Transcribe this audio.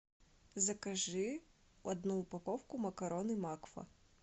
закажи одну упаковку макароны макфа